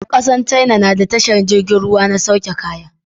ƙasar China nada tashar jirgin ruwa ta sauke kaya